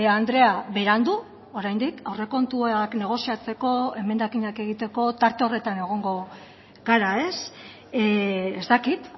andrea berandu oraindik aurrekontuak negoziatzeko emendakinak egiteko tarte horretan egongo gara ez ez dakit